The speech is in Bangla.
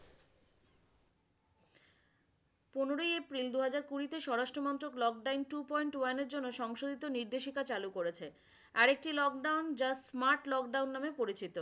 পনেরোই এপ্রিল দুহাজার কুড়িতে স্বরাষ্ট্রমন্ত্র clocktime two point one এর জন্য সংশোধিত নির্দেশিকা চালু করেছে। আরেকটি লক ডাউন যা মার্চ লক ডাউন নামে পরিচিত।